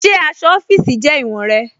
Ṣe aṣọ ọfiisi jẹ iwọ̀n rẹ̀?